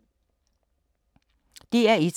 DR1